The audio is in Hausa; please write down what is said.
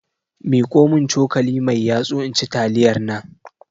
miƙomin cokali mai yatsu inci taliyarnan